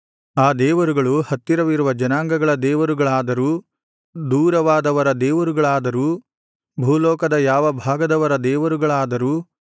ಆ ದೇವರುಗಳು ಹತ್ತಿರವಿರುವ ಜನಾಂಗಗಳ ದೇವರುಗಳಾದರೂ ದೂರವಾದವರ ದೇವರುಗಳಾದರೂ ಭೂಲೋಕದ ಯಾವ ಭಾಗದವರ ದೇವರುಗಳಾದರೂ